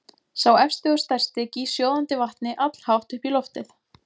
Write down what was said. Sá efsti og stærsti gýs sjóðandi vatni allhátt upp í loftið.